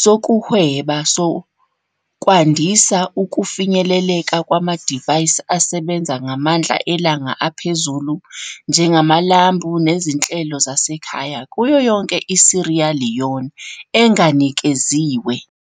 sokuhweba sokwandisa ukufinyeleleka kwamadivayisi asebenza ngamandla elanga aphezulu, njengamalambu nezinhlelo zasekhaya, kuyo yonke iSierra Leone enganikeziwe.